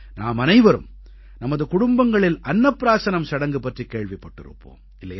நாம் அனைவரும் நமது குடும்பங்களில் அன்னப் ப்ராஸனம் சடங்கு பற்றிக் கேள்விப்பட்டிருப்போம்